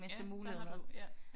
Så har du ja ja